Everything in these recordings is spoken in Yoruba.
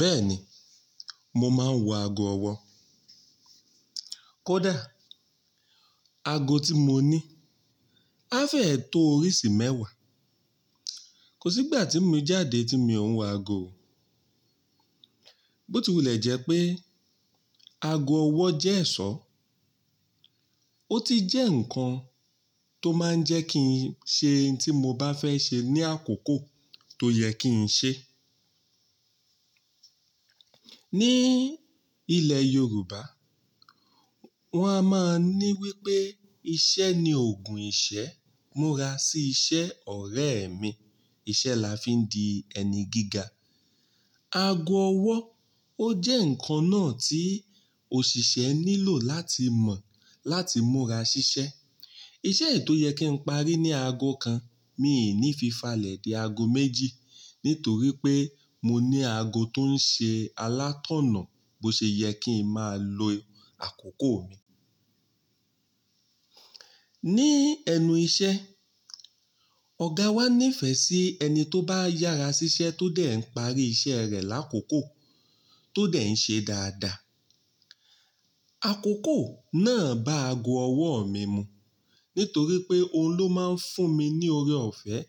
Bẹ́ẹ̀ni, mo máa ń wọ ago ọwọ́. Kódà ago tí mo ní á fẹ́ tó oríṣi mẹ́wàá. Kò sí ìgbà tí mi jáde tí mi ò ń wọ ago o. Bótìwùlẹ̀ jẹ́ pé ago ọwọ́ jẹ́ ẹ̀ṣọ́. Ó ti jẹ́ ǹkan tó máa ń jẹ́ kí n ṣe ohun tí mo bá fẹ́ ṣe ní àkókò tó yẹ kí n ṣe. Ní ilẹ̀ Yorùbá, wọn a máa ní wípé "Iṣẹ́ ni ògùn ìṣẹ́, múra sí iṣẹ́ ọ̀rẹ́ mi". Iṣẹ́ la fi ń di ẹni gíga. Ago ọwọ́ ó jẹ́ ǹkan náà tí òṣìṣẹ́ nílò láti mọ̀ láti múra ṣiṣẹ́. Iṣẹ́ ètò yẹ kí n parí ní ago kan, mi ò ní fi falẹ̀ dé ago méjì nítorí pé mo ní ago tó ń ṣe alátọ̀nà bó ṣe yẹ kí n máa lo àkókò mi. Ní ẹnu iṣẹ́, ọ̀gá wa nífẹ̀ẹ́ sí ẹni tó bá yára ṣiṣẹ́ tó dẹ̀ ń parí iṣẹ́ rẹ̀ lákòókò tó dẹ̀ ń ṣe dáadáa. Àkókò náà bá ago ọwọ́ mi mu nítorí pé òun ló máa ń fún mi ní oore ọ̀fẹ́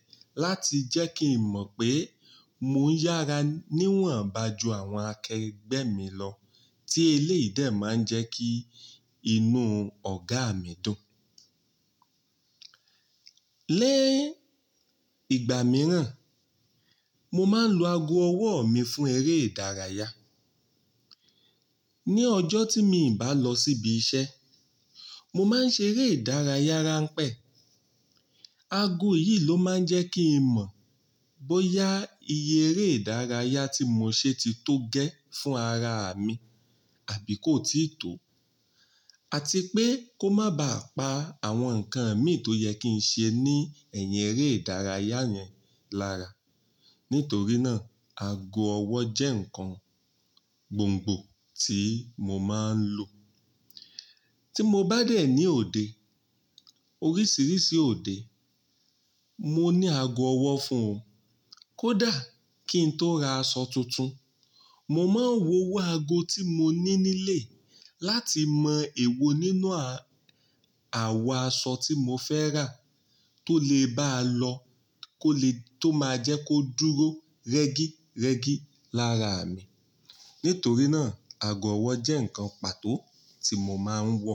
láti jẹ́ kí n mọ̀ pé mò ń yára níwọ̀nba ju àwọn akẹgbẹ́ mi lọ tí eléyìí dẹ̀ máa ń jẹ́ kí inú ọ̀gá mi dùn. Lẹ́ ìgbà mìíràn, mo máa ń lo ago ọwọ́ mi fún eré ìdárayá. Ni ọjọ́ tí mi ò bá lọ síbi iṣẹ́, mo máa ń ṣe eré ìdárayá ránpẹ́. Ago yìí ló máa ń jẹ́ kí n mọ̀ bóyá iye eré ìdárayá tí mo ṣe ti tó gẹ́ fún ara mi àbí kó ti tò àti pé kó má ba à pa àwọn nǹkan mi tó yẹ kí n ṣe ní ẹ̀yìn eré ìdárayá yẹn lára. Nítorí náà, ago ọwọ́ jẹ́ ǹkan gbòǹgbò tí mo máa ń lò. Tí mo bá dé ní òde, oríṣiríṣi òde, mo ní ago ọwọ́ fún un. Kódà kí n tó ra aṣọ tuntun, mo máa ń wowo ago tí mo ní nílé láti mọ èwo nínú à- àwo aṣọ tí mo fẹ́ rà tó lè báa lọ, kó lè-- tó máa jẹ́ kó dúró rẹ́gírẹ́gí lára mi. Nítorí náà, ago ọwọ́ jẹ́ ǹkan pàtó tí mo máa ń wọ.